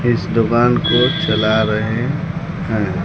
इस दुकान को चला रहे हैं।